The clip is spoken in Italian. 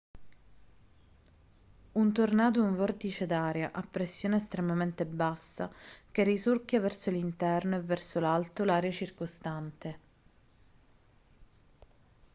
un tornado è un vortice d'aria a pressione estremamente bassa che risucchia verso l'interno e verso l'alto l'aria circostante